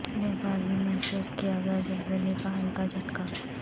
نیپال میں محسوس کیا گیا زلزلے کا ہلکا جھٹکا